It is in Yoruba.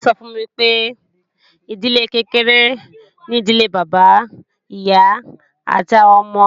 Ìyá mi sọ fún mi pé, ìdílé kékeré ni ìdílé Bàbá, Ìyá, àti àwọn ọmọ